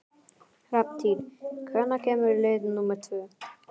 Hrafntýr, hvenær kemur leið númer tvö?